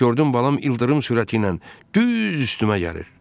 Gördüm balam ildırım sürəti ilə düz üstümə gəlir.